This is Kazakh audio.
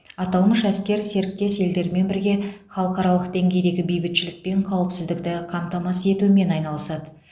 аталмыш әскер серіктес елдермен бірге халықаралық деңгейдегі бейбітшілік пен қауіпсіздікті қамтамасыз етумен айналысады